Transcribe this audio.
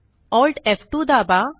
Alt आणि F two दाबा